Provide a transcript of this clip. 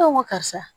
Ne ko n ko karisa